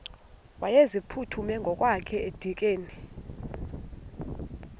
wayeziphuthume ngokwakhe edikeni